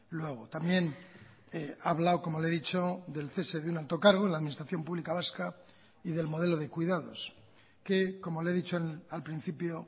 luego también ha hablado como le he dicho del cese de un alto cargo en la administración pública vasca y del modelo de cuidados que como le he dicho al principio